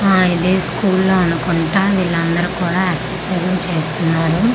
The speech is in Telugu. ఆ ఇది స్కూల్లో అనుకుంటా వీళ్లందరు కూడా ఎక్సర్సైజు లు చేస్తున్నారు .]